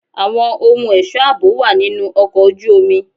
Àwọn ohun ẹ̀ṣọ́ àbò wà nínú ọkọ̀ ojú omi.